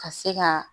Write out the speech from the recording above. Ka se ka